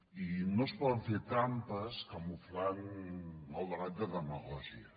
i no es poden fer trampes camuflant el debat de demagògia